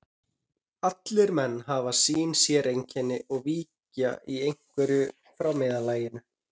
Allir menn hafa sín séreinkenni og víkja í einhverju frá meðallaginu.